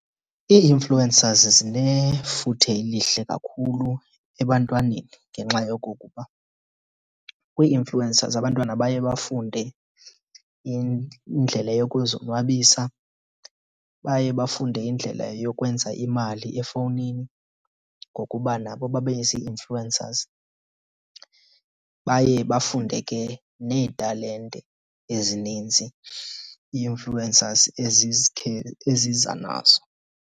Ii-influencers zinefuthe elihle kakhulu ebantwaneni ngenxa yokokuba kwii-influencers abantwana baye bafunde indlela yokuzonwabisa, baye bafunde indlela yokwenza imali efowunini ngokuba nabo babe zii-influencers. Baye bafunde ke neetalente ezininzi ii-influencers eziza nazo.